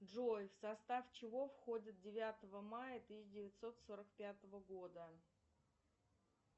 джой в состав чего входит девятого мая тысяча девятьсот сорок пятого года